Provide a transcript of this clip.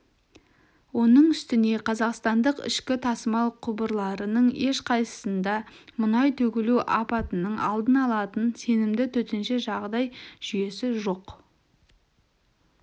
оның үстіне қазақстандық ішкі тасымал құбырларының ешқайсысында мұнай төгілу апатының алдын алатын сенімді төтенше жағдай жүйесі жоқ